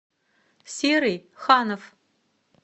серый ханов